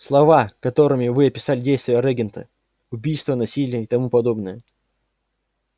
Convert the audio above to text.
слова которыми вы описали действия регента убийства насилие и тому подобное